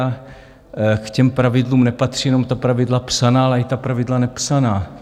A k těm pravidlům nepatří jenom ta pravidla psaná, ale i ta pravidla nepsaná.